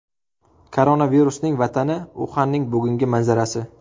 Koronavirusning vatani Uxanning bugungi manzarasi .